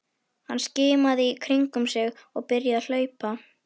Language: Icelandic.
Hann skimaði í kringum sig og byrjaði að hlaupa.